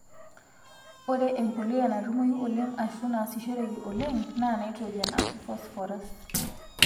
ore empuliya natumoyu oleng Ashu naasishoreki oleng NAA nitrogen Ashu phosphorus